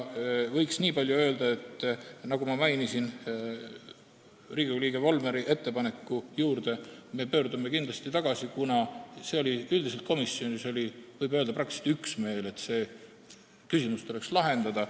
Võiks niipalju öelda, et nagu ma mainisin, Riigikogu liikme Volmeri ettepaneku juurde me pöördume kindlasti tagasi, kuna võib öelda, et komisjonis oli üksmeel, et see küsimus tuleks lahendada.